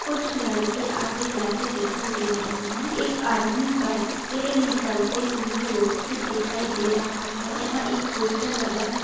कुछ लड़के आते-जाते दिखाई दे रहे है। एक आदमी बाइक से निकलते हुए रोड से दिखाई दे रहा है। यहाँ एक पोस्टर लगा हु --